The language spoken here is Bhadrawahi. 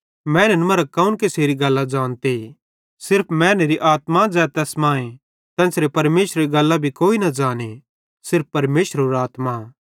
मैनन् मरां कौन केसेरी गल्लां ज़ानते सिर्फ मैनेरी आत्मा ज़ै तैस मांए तेन्च़रे परमेशरेरी गल्लां भी कोई न ज़ाने सिर्रफ परमेशरेरो आत्मा